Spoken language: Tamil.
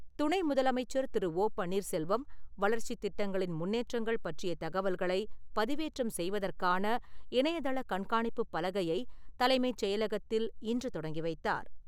துணை முதலமைச்சர் திரு. ஓ பன்னீர்செல்வம் வளர்ச்சித் திட்டங்களின் முன்னேற்றங்கள் பற்றிய தகவல்களைப் பதிவேற்றம் செய்வதற்கான இணையதளக் கண்காணிப்புப் பலகையைத் தலைமைச் செயலகத்தில் இன்று தொடங்கி வைத்தார்.